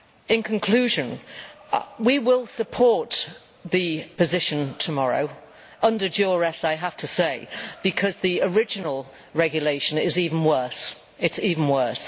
In conclusion, we will support the position tomorrow under duress I have to say because the original regulation is even worse.